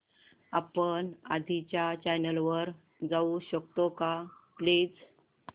आपण आधीच्या चॅनल वर जाऊ शकतो का प्लीज